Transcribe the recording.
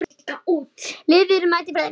Liðið mætir Finnum.